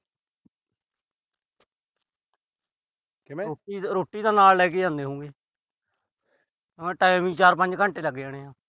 ਰੋਟੀ ਤਾਂ ਨਾਲ ਲੈ ਕੇ ਜਾਂਦੇ ਹੋਓਗੇ। time ਈ ਚਾਰ-ਪੰਜ ਘੰਟੇ ਲੱਗ ਜਾਂਦੇ ਆ।